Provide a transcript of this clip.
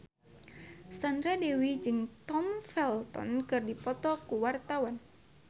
Sandra Dewi jeung Tom Felton keur dipoto ku wartawan